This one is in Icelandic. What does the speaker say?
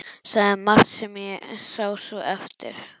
Sagði margt sem ég sá svo eftir.